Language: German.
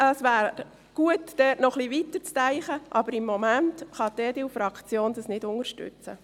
Es wäre gut, dort noch ein wenig weiterzudenken, aber im Moment kann die EDU-Fraktion das nicht unterstützen.